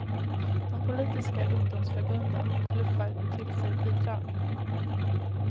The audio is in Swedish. De politiska ungdomsförbunden bluffar till sig bidrag.